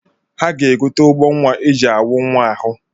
Ha ga-egote ugbonwa e ji anwụ nwa ahụ